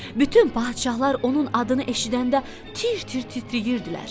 Bütün padşahlar onun adını eşidəndə tir-tir titrəyirdilər.